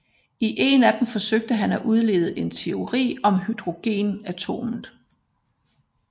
I en af dem forsøgte han at udlede en teori for hydrogenatomet